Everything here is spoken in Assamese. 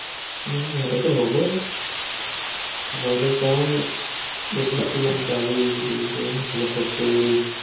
উম ইয়াতেতো হবই। গুৱাহাটীত কাৰণ বেছিভাগ কিমান গাড়ী, building ইফালে factory